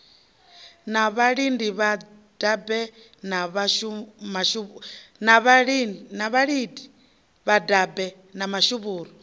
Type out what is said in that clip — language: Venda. na vhalidi vhadabe na mashuvhuru